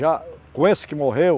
Já com esse que morreu,